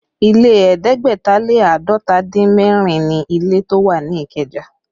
Ilé ẹ̀ẹ́dẹ́gbẹ̀ta lé àádọ́ta dín mẹ́rin ni ilé tó wà ní Ikeja